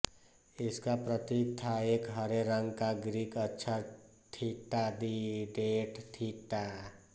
इसका प्रतीक था एक हरे रंग का ग्रीक अक्षर थीटा दी डेड थीटा